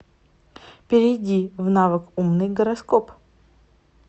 перейди в навык умный гороскоп